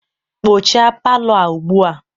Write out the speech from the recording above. kpochaa palọ a ugbu a!